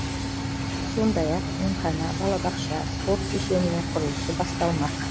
сондай ақ емхана балабақша спорт кешенінің құрылысы басталмақ